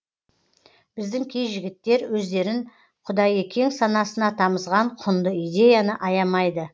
біздің кей жігіттер өздерін құдайекең санасына тамызған құнды идеяны аямайды